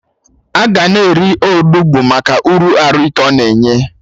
Aga na-eri Onugbu Maka uru arụ ike ọ na-enye